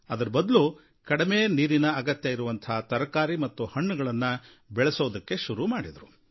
ಅದರ ಬದಲು ಕಡಿಮೆ ನೀರಿನ ಅಗತ್ಯ ಇರುವಂಥ ತರಕಾರಿ ಮತ್ತು ಹಣ್ಣುಗಳನ್ನು ಬೆಳೆಯೋದಕ್ಕೆ ಶುರು ಮಾಡಿದರು